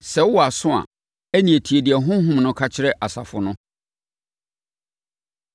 Sɛ wowɔ aso a, ɛnneɛ tie deɛ Honhom no ka kyerɛ asafo no.”